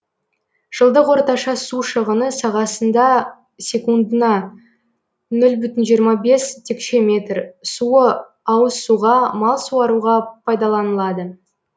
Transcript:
жылдық орташа су шығыны сағасында секундына нөл бүтін жиырма бес текше метр суы ауыз суға мал суаруға пайдаланылады